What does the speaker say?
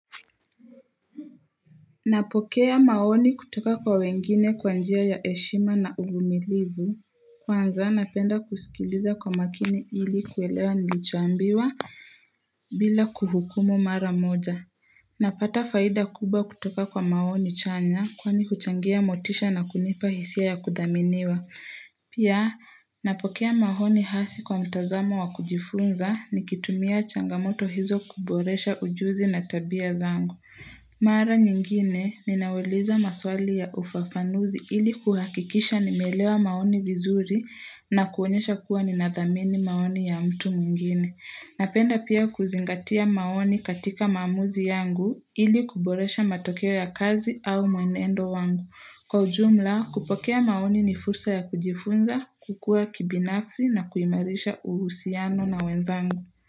Napokea maoni kutoka kwa wengine kwa njia ya heshima na uvumilivu, kwanza napenda kusikiliza kwa makini hili kuwelewa nilichoambiwa bila kuhukumu mara moja. Napata faida kubwa kutoka kwa maoni chanya kwani huchangia motisha na kunipa hisia ya kudhaminiwa. Pia napokea maoni hasi kwa mtazamo wa kujifunza nikitumia changamoto hizo kuboresha ujuzi na tabia zangu. Bila kuhukumu mara moja. Napata faida kubwaa kutoka kwa maoni chanya kwani kuchangia motisha na kunipa hisia ya kudhaminiwa. Pia napokea maoni hasi kwa mtazamo wa kujifunza ni kitumia changamoto hizo kuboresha ujuzi na tabia zangu. Napenda pia kuzingatia maoni katika maamuzi yangu ili kuboresha matokeo ya kazi au mwenendo wangu. Kwa ujumla kupokea maoni ni fursa ya kujifunza, kukua kibinafsi na kuimarisha uhusiano na wenzangu.